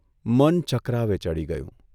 મન ચકરાવે ચઢી ગયું.